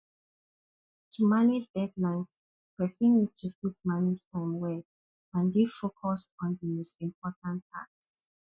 to manage deadlines person need to fit manage time well and dey focused on di most important tasks